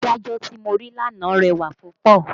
Adájọ́ tí mo rí lánàá rẹwà púpọ̀